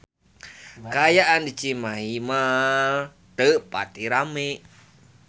Kaayaan di Cimahi Mall teu pati rame